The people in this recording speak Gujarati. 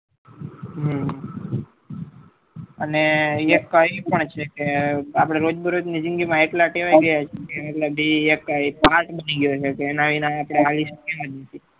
અને એક એવું પણ છે આપડે રોજ બે રોજ માં એટલા ટેવાય ગયા છીએ કે એક ત્રાસ બની ગયો છે કે એના વગર આપડે હાલી શકીએ એમ નહીં